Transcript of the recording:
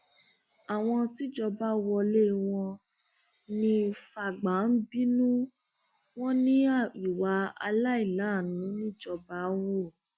àwọn tíjọba wọlé wọn ní fàgbà ń bínú wọn ní ìwà àìláàánú nìjọba hù